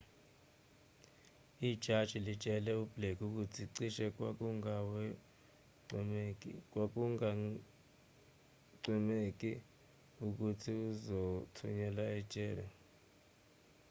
ijaji litshele ublake ukuthi cishe kwakungagwemeki ukuthi uzothunyelwa ejele